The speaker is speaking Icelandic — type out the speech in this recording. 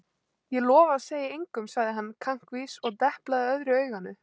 Ég lofa að segja engum sagði hann kankvís og deplaði öðru auganu.